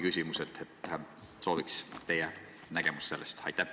Sooviksin teada teie nägemust selle kohta.